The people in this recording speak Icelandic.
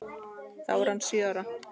Þá var hann sjö ára.